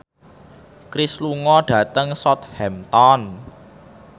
Cher lunga dhateng Southampton